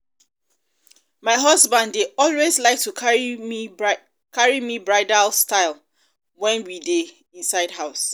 my husband dey um always um like to carry me bridal style wen we dey um inside house